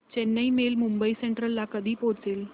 Chennai mail Mumbai central ला कधी पोहचेल